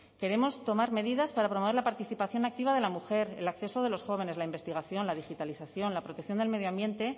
queremos tomar medidas para promover la participación activa de la mujer el acceso de los jóvenes la investigación la digitalización la protección del medio ambiente